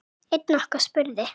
Einn okkar spurði